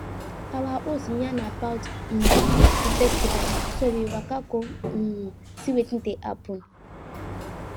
our host yan about um di festival so we waka go um see wetin dey happen